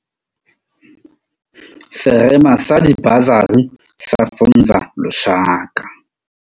Serema sa dibasari sa Funza Lushaka.